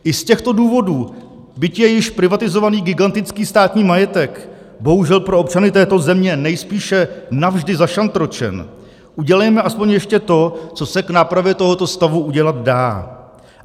I z těchto důvodů, byť je již privatizovaný gigantický státní majetek bohužel pro občany této země nejspíše navždy zašantročený, udělejme alespoň ještě to, co se k nápravě tohoto stavu udělat dá.